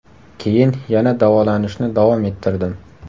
Keyin yana davolanishni davom ettirdim.